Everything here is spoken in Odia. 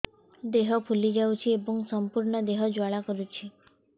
ଦେହ ଫୁଲି ଯାଉଛି ଏବଂ ସମ୍ପୂର୍ଣ୍ଣ ଦେହ ଜ୍ୱାଳା କରୁଛି